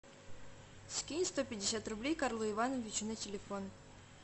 скинь сто пятьдесят рублей карлу ивановичу на телефон